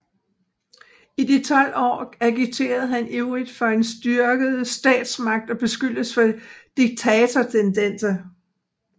I de 12 år agiterede han ivrigt for en styrket statsmagt og beskyldtes for diktatortendenser